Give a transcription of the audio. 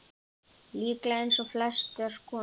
Líklega eins og flestar konur.